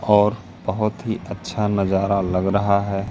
और बहोत ही अच्छा नजारा दिख रहा है।